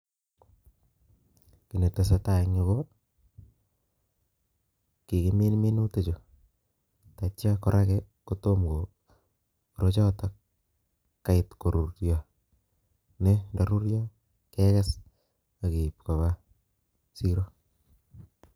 Kiy netesetai en yuu, ko kikimin minutik chu, tatya koraki kotomko, orochotok kait korurio, ne ndarurio, kekes akeib koba siro